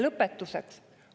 Lõpetuseks.